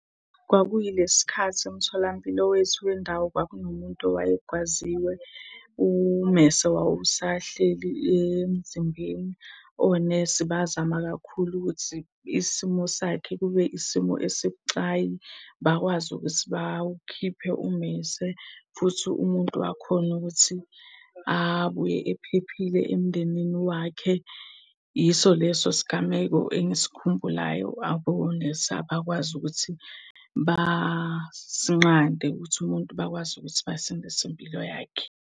Kwakuyilesi sikhathi emtholampilo wethu wendawo kwakunomuntu owayegwaziwe, ummese wawusahleli emzimbeni. Onesi bazama kakhulu ukuthi isimo sakhe kube isimo esibucayi. Bakwazi ukuthi bawukhiphe ummese, futhi umuntu wakhona ukuthi abuye ephephile emndenini wakhe. Yiso leso sigameko engisikhumbulayo abonesi abakwazi ukuthi basinqande ukuthi umuntu bakwazi ukuthi basindise impilo yakhe.